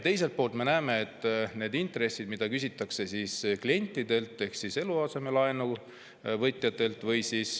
Teiselt poolt me näeme, et need intressid, mida küsitakse klientidelt ehk eluasemelaenu võtjatelt …